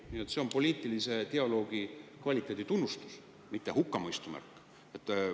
Nii et see on poliitilise dialoogi kvaliteedi tunnustus, mitte hukkamõistu märk.